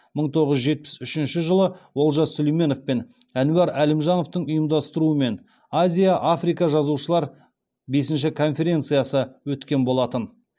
мың тоғыз жүз жетпіс үшінші жылы олжас сүлейменов пен әнуар әлімжановтың ұйымдастыруымен азия африка жазушылар бесінші конференциясы өткен болатын